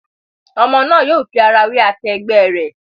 Ọmọ náà yóò fi ara wé akẹgbẹ̀ rẹ̀.